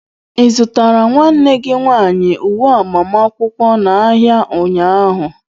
Ị zụtara nwanne gị nwanyị uwe agbamakwụkwọ n'ahịa ụnyaahụ?